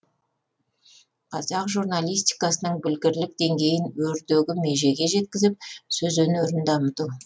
қазақ журналистикасының білгірлік деңгейін өрдегі межеге жеткізіп сөз өнерін дамыту